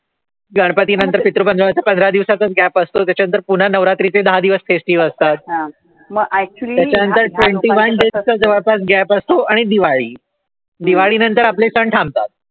गणपतीस पंधरा दिवस gap असतो त्यानंतर पुन्हा नवरात्रीचे दहा दिवस festival असतात. त्याच्यानंतर twenty one days चा जवळपास असतो आणि मग दिवाळी, दिवाळीनंतर आपले सण थांबतात.